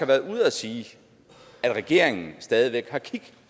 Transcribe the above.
været ude at sige at regeringen stadig væk har kig